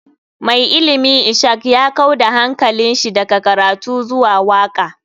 Mai ilimi ishak ya kau da hankalinshi daga karatu zuwa waka.